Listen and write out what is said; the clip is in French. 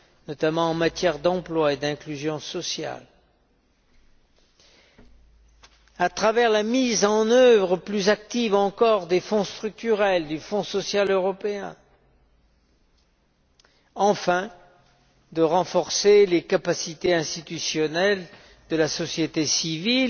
notamment en matière d'emploi et d'inclusion sociale, à travers la mise en œuvre plus active des fonds structurels et du fonds social européen, et, enfin, en renforçant les capacités institutionnelles de la société civile